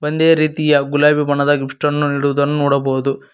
ಒಂದೇ ರೀತಿಯ ಗುಲಾಬಿ ಬಣ್ಣದ ಗಿಫ್ಟ್ ಅನ್ನು ಇಡುವುದನ್ನು ನೋಡಬಹುದು.